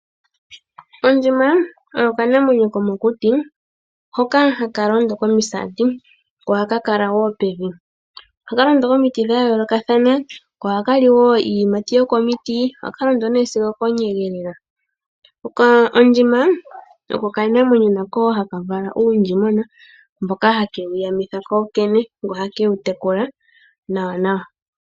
Ondjima oyo okanamwenyo komokuti hoka haka londo komisaati, ko ohaka kala wo pevi. Ohaka londo komiti dha yoolokathana, ko ohaka li wo iiyimati yokomiti. Ohaka londo nee sigo okoonyege lela. Ondjima oko okanamwenyo nako haka vala uundjimwena, mboka hakewu yamitha kokene, ko ohake wu tekula nawanawa.